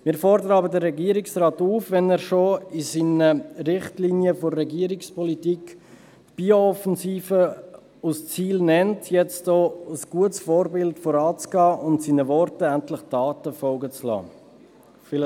Wir fordern aber den Regierungsrat auf, wenn er schon in den Richtlinien der Regierungspolitik die Biooffensive als Ziel nennt, hier nun als gutes Vorbild voranzugehen und seinen Worten endlich Taten folgen zu lassen.